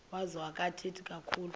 wazo akathethi kakhulu